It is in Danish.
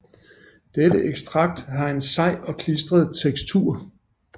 Dette ekstrakt har en sej og klistret tekstur